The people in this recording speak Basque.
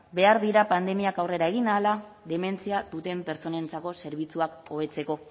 behar dira pandemiak aurrera egin ahala dementzia duten pertsonentzako zerbitzuak hobetzeko